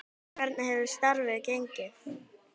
En hvernig hefur starfið gengið?